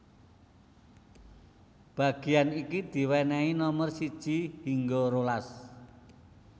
Bagéan iki diwènèhi nomer siji hingga rolas